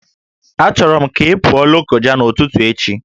Achọrọ m ka ị pụọ Lokoja n'ụtụtụ echi!